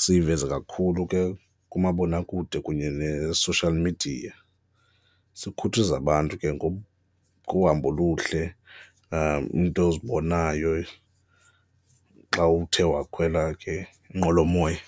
siyiveze kakhulu ke kumabonakude kunye ne-social media, sikhuthaze abantu ke ngohambo oluhle, iinto ozibonayo xa uthe wakhwela ke inqwelomoya.